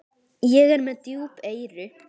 Ég er með djúp eyru.